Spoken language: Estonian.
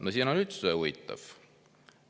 No siin on üldse huvitav.